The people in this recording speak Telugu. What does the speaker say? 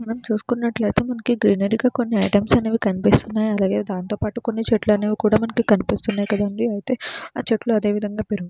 మనం చూసుకున్నట్లయితే మనకి గ్రీనరీ గా కొన్ని ఐటమ్స్ అనేవి కనిపిస్తున్నాయ్ అలాగే దాంతోపాటు కొన్ని చెట్లనేవి కూడా మనకి కనిపిస్తున్నట్టుగా ఉంది అయితే ఆ చెట్లు అదేవిధంగా పేరు --